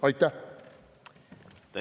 Aitäh!